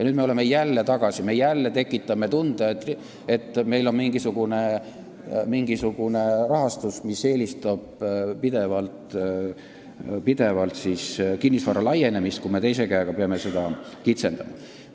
Nüüd me oleme jälle siin tagasi, me tekitame jälle tunde, et meil on mingisugune rahastus, mis eelistab pidevalt seda, et kinnisvara oleks rohkem, kui me teiselt poolt peame kinnisvara kokku tõmbama.